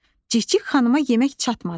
Cikcik xanıma yemək çatmadı.